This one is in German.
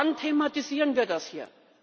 Wann thematisieren wir das hier?